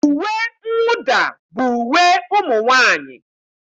Uwe mwụda bụ uwe ụmụ nwaanyị.